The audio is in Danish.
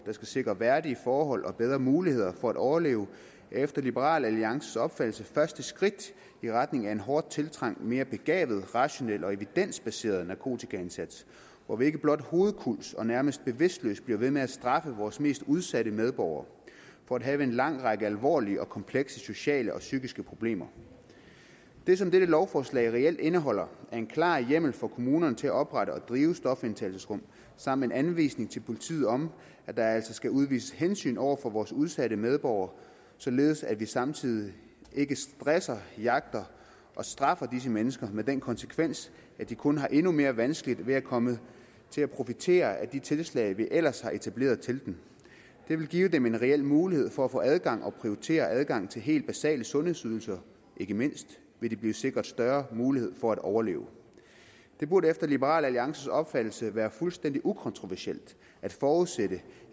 der skal sikre værdige forhold og bedre muligheder for at overleve er efter liberal alliances opfattelse første skridt i retning af en hårdt tiltrængt mere begavet rationel og evidensbaseret narkotikaindsats hvor vi ikke blot hovedkulds og nærmest bevidstløst bliver ved med at straffe vores mest udsatte medborgere for at have en lang række alvorlige og komplekse sociale og psykiske problemer det som dette lovforslag reelt indeholder er en klar hjemmel for kommunerne til at oprette og drive stofindtagelsesrum samt en anvisning til politiet om at der altså skal udvises hensyn over for vores udsatte medborgere således at vi samtidig ikke stresser jagter og straffer disse mennesker med den konsekvens at de kun har endnu mere vanskeligt ved at komme til at profitere af de tiltag vi ellers har etableret til dem det vil give dem en reel mulighed for at få adgang og prioritere adgangen til helt basale sundhedsydelser ikke mindst vil de blive sikret større mulighed for at overleve det burde efter liberal alliances opfattelse være fuldstændig ukontroversielt at forudsætte